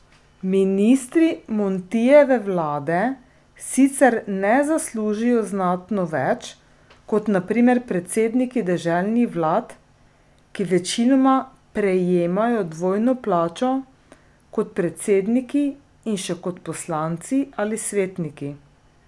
Ministri Montijeve vlade sicer ne zaslužijo znatno več kot na primer predsedniki deželnih vlad, ki večinoma prejemajo dvojno plačo, kot predsedniki in še kot poslanci ali svetniki.